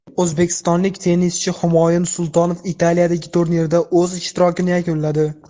O‘zbekistonlik tennischi Humoyun Sultonov Italiyadagi turnirda o‘z ishtirokini yakunladi.